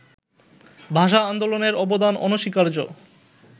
ভাষা-আন্দোলনের অবদান অনস্বীকার্য